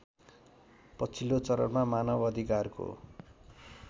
पछिल्लो चरणमा मानवअधिकारको